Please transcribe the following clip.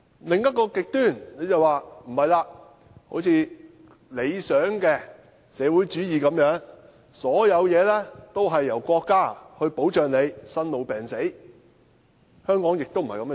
另一個極端就如理想的社會主義般，生、老、病、死，一切均由國家保障，但香港的情況亦非如此。